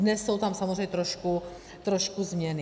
Dnes jsou tam samozřejmě trošku změny.